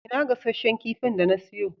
Ina gasasshen kifin da na siyo?